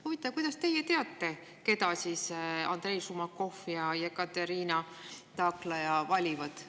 Huvitav, kuidas teie teate, keda Andrei Šumakov ja Ekaterina Taklaja valivad.